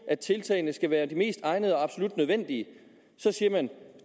at tiltagene skal være de mest egnede og absolut nødvendige så siger man